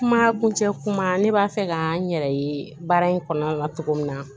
Kuma kuncɛ kuma ne b'a fɛ ka n yɛrɛ ye baara in kɔnɔna na cogo min na